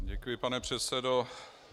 Děkuji, pane předsedo.